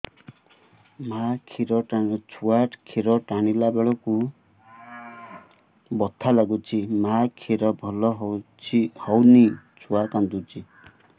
ଛୁଆ ଖିର ଟାଣିଲା ବେଳକୁ ବଥା ଲାଗୁଚି ମା ଖିର ଭଲ ହଉନି ଛୁଆ କାନ୍ଦୁଚି